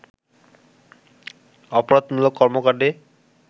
অপরাধমূলক কর্মকাণ্ডে